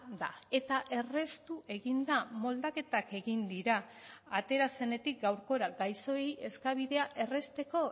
da eta erraztu egin da moldaketak egin dira atera zenetik gaurkora gaixoei eskabidea errazteko